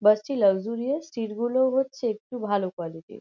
বাস -টি luxurious seat -গুলো হচ্ছে একটু ভালো কোয়ালিটি -র।